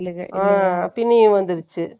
ஆ, பிணியும் வந்துருச்சு